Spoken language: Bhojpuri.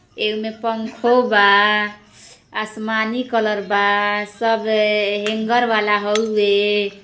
एमे पंखों बा। आसमानी कलर बा। सब हे हेंगर वाला हउवे।